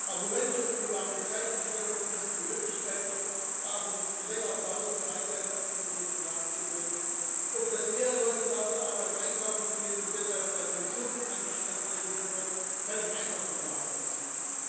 Argumente, wonach die Zeitumstellung uns die Möglichkeit gibt, abends länger draußen Freizeitaktivitäten nachzugehen, oder dass mehr Leute nach der Arbeit einkaufen gehen und deshalb der Konsum angeschoben wird, kann ich einfach nicht nachvollziehen.